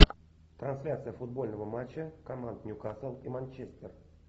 трансляция футбольного матча команд ньюкасл и манчестер